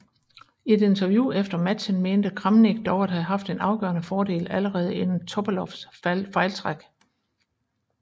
I et interview efter matchen mente Kramnik dog at have haft en afgørende fordel allerede inden Topalovs fejltræk